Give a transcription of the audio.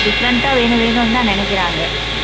different ஆ வேணும் வேணும்தான் நினைக்கிறாங்க